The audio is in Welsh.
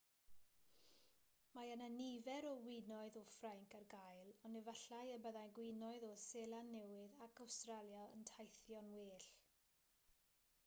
mae yna nifer o winoedd o ffrainc ar gael ond efallai y byddai gwinoedd o seland newydd ac awstralia yn teithio'n well